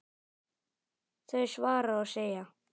þau svara og segja